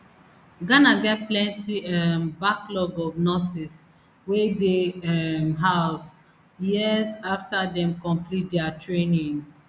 ghana get plenti um backlog of nurses wey dey um house years afta dem complete dia training